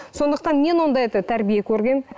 сондықтан мен ондай да тәрбие көргенмін